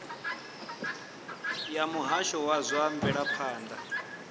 ya muhasho wa zwa mvelaphanda